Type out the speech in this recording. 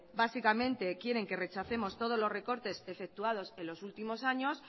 básicamente quieren que rechacemos todo los recortes efectuados en los últimos años